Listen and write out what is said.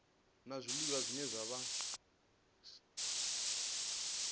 la zwiliwa zwine zwa vha